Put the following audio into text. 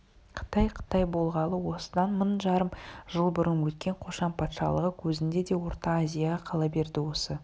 қытай қытай болғалы осыдан мың жарым жыл бұрын өткен қошан патшалығы кезінде де орта азияға қала берді осы